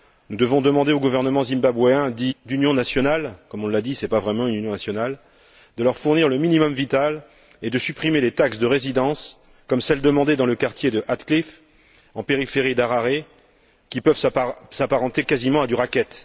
Nous devons demander au gouvernement zimbabwéen dit d'union nationale comme on l'a dit, ce n'est pas vraiment une union nationale de leur fournir le minimum vital et de supprimer les taxes de résidence, comme celles demandées dans le quartier de Hatcliffe en périphérie d'Harare, qui peuvent s'apparenter quasiment à du racket.